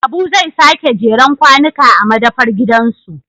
Habu zai sake jeren kwanuka a madafar gidansu